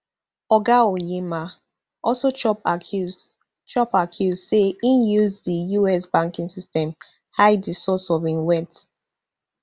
oga onyema also chop accuse chop accuse say e use di us banking system hide di source of im wealth